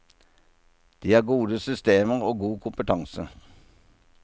De har gode systemer og god kompetanse.